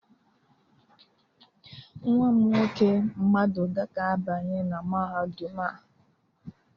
Nwa m nwoke, maduka ga-abanye na mahadum a